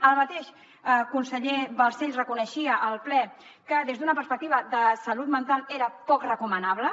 el mateix conseller balcells reconeixia al ple que des d’una perspectiva de salut mental era poc recomanable